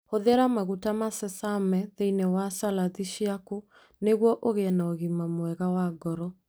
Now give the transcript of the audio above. Hũthĩra maguta ma sesame thĩinĩ wa saladhi ciaku nĩguo ũgĩe na ũgima mwega wa ngoro.